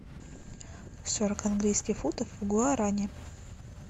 сорок английских фунтов в гуарани